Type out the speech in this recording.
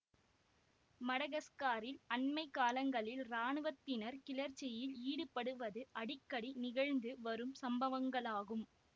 மடகஸ்காரில் அண்மை காலங்களில் இராணுவத்தினர் கிளர்ச்சியில் ஈடுபடுவது அடிக்கடி நிகழ்ந்து வரும் சம்பவங்களாகும்